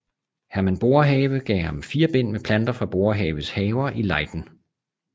Herman Boerhaave gav ham fire bind med planter fra Boerhaaves haver i Leiden